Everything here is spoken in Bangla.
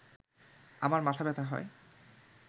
আমার মাথাব্যথা হয়